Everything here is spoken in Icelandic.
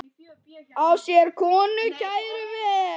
Á sér konu kæra ver.